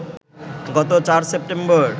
গত ৪ সেপ্টেম্বর